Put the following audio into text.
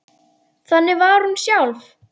Þannig var hún sjálf.